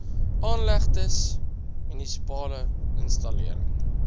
aanlegtes munisipale installering